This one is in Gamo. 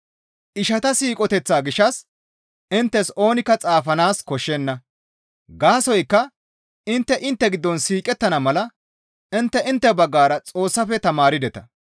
Ishata siiqoteththa gishshas inttes oonikka xaafanaas koshshenna; gaasoykka intte intte giddon siiqettana mala intte intte baggara Xoossafe tamaardeta.